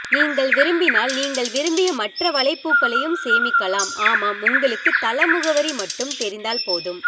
நீங்கள் விரும்பினால் நீங்கள் விரும்பிய மற்ற வலைப்பூக்களையும் சேமிக்கலாம்ஆமாம் உங்களுக்கு தள முகவரி மட்டும் தெரிந்தால் போதும்